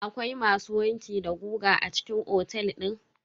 Akwai masu wanki da goga a cikin otel din?